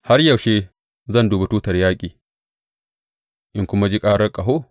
Har yaushe zan dubi tutar yaƙi in kuma ji karar ƙaho?